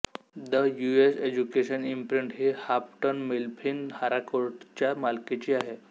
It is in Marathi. द यूएस एज्युकेशन इंप्रिंट ही हाफटन मिफ्लिन हॅराकोर्टच्या मालकीची आहे